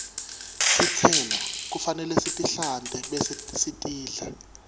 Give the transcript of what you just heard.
tistelo kufanele sitihlante bese sitidla